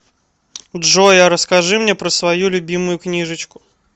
джой а расскажи мне про свою любимую книжечку